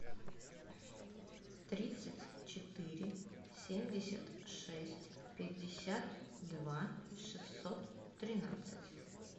тридцать четыре семьдесят шесть пятьдесят два шестьсот тринадцать